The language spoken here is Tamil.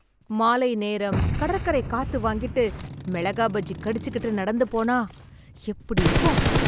மாலை நேரம், கடற்கரை காத்து வாங்கிட்டு, மிளகாய் பஜ்ஜி கடிச்சிகிட்டு, நடந்து போனா எப்படி இருக்கும்.